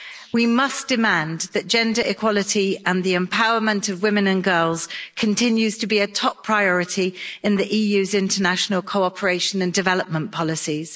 We must demand that gender equality and the empowerment of women and girls continues to be a top priority in the EU's international cooperation and development policies.